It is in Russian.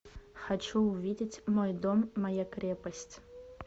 хочу увидеть мой дом моя крепость